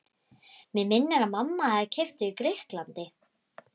Mig minnir að mamma hafi keypt þau í Grikklandi.